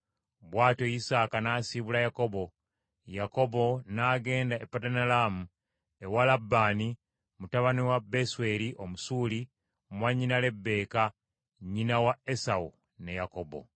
Bw’atyo Isaaka n’asiibula Yakobo, Yakobo n’agenda e Padanalaamu ewa Labbaani, mutabani wa Besweri Omusuuli mwannyina Lebbeeka, nnyina wa Esawu ne Yakobo.